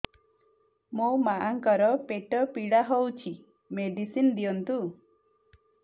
ମୋ ମାଆଙ୍କର ପେଟ ପୀଡା ହଉଛି ମେଡିସିନ ଦିଅନ୍ତୁ